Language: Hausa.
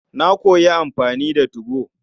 Na koyi amfani da 2go.